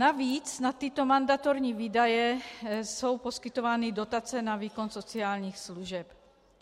Navíc na tyto mandatorní výdaje jsou poskytovány dotace na výkon sociálních služeb.